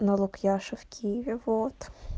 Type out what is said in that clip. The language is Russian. налог яши в киеве вот